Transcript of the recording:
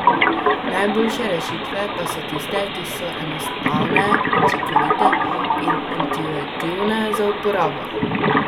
Najboljše rešitve pa so tiste, ki so enostavne, učinkovite in intuitivne za uporabo.